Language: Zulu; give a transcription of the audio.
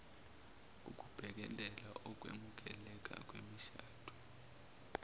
ukubhekelwa ukwemukeleka kwemishado